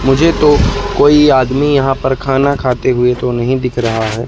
मुझे तो कोई आदमी यहां पर खाना खाते हुए तो नहीं दिख रहा है।